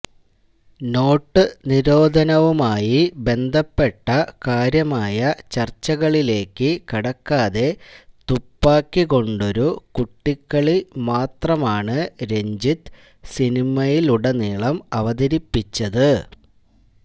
not നിരോധനവുമായി ബന്ധപ്പെട്ട കാര്യമായ ചര്ച്ചകളിലേക്ക് കടക്കാതെ തുപ്പാക്കി കൊണ്ടൊരു കുട്ടിക്കളി മാത്രമാണ് രഞ്ജിത്ത് സിനിമയിലുടനീളം അവതരിപ്പിച്ചത്